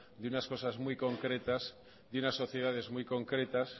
de unas cosas muy concretas y unas sociedades muy concretas